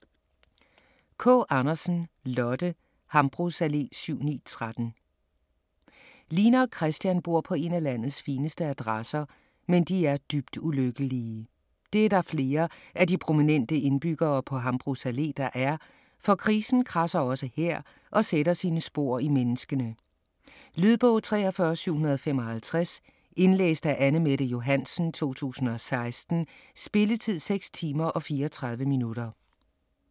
Kaa Andersen, Lotte: Hambros Allé 7-9-13 Line og Kristian bor på én af landets fineste adresser - men de er dybt ulykkelige. Det er der flere af de prominente indbyggere på Hambros Allé, der er, for krisen kradser også her og sætter sine spor i menneskene. Lydbog 43755 Indlæst af Anne-Mette Johansen, 2016. Spilletid: 6 timer, 34 minutter.